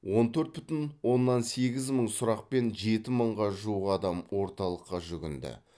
он төрт бүтін оннан сегіз мың сұрақпен жеті мыңға жуық адам орталыққа жүгінді